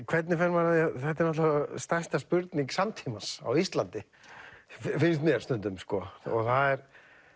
hvernig fer maður að því þetta er náttúrulega stærsta spurning samtímans á Íslandi finnst mér stundum sko það